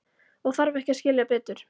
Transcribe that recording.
Og þarf ekki að skilja betur.